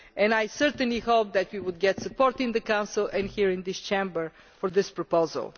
I certainly hope that we will get support in the Council and here in this Chamber for this proposal.